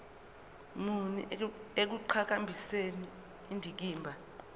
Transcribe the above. muni ekuqhakambiseni indikimba